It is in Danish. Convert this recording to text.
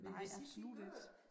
Nej absolut ikke